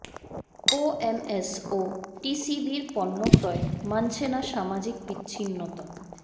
OMS ও টিসিবির পণ্য ক্রয়ে মানছে না সামাজিক বিচ্ছিন্নতা